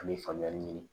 An bɛ faamuyali ɲini